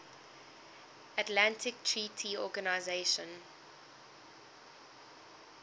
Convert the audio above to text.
atlantic treaty organisation